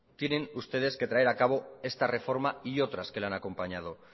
tienen ustedes que traer a cabo esta reforma y otras que le han acompañado